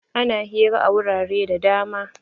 Ana hira a wurare da dama.